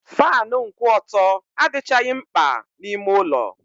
Faanụ nkwụ ọtọ adịchaghị mkpa n'ime ụlọ.